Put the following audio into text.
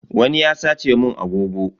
Wani ya sace mun agogo.